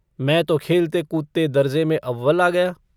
मैं तो खेलते-कूदते दर्ज़े में अव्वल आ गया।